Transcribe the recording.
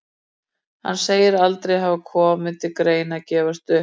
Hann segir aldrei hafa komið til greina að gefast upp.